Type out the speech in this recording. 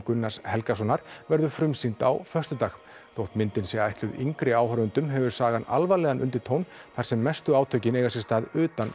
Gunnars Helgasonar verður frumsýnd á föstudag þótt myndin sé ætluð yngri áhorfendum hefur sagan alvarlegan undirtón þar sem mestu átökin eiga sér stað utan